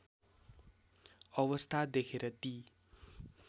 अवस्था देखेर ती